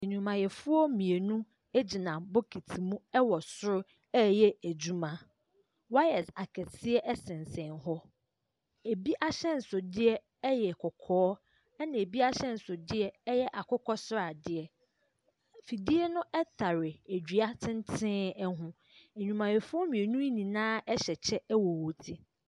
Nnwumayɛfoɔ mmienu gyina bokiti mu wɔ soro reyɛ adwuma. Wayɛs akɛseɛ sensɛn hɔ. Ebi ahyɛnsodeɛ yɛ kɔkɔɔ, ɛnna ebi ahyɛnsodeɛ yɛ akokɔ sradeɛ. Fidie no tare dua tenten ho. Nnwumayɛfoɔ mmienu yi nyinaa hyɛ kyɛ wɔ wɔn ti.